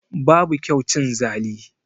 Babu kyau cin zali